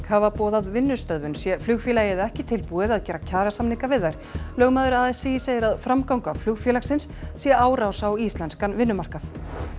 hafa boðað vinnustöðvun sé flugfélagið ekki tilbúið að gera kjarasamninga við þær lögmaður a s í segir að framganga flugfélagsins sé árás á íslenskan vinnumarkað